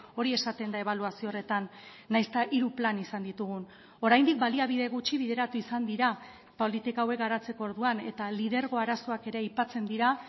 hori esaten da ebaluazio horretan nahiz eta hiru plan izan ditugun oraindik baliabide gutxi bideratu izan dira politika hauek garatzeko orduan eta lidergo arazoak ere aipatzen dira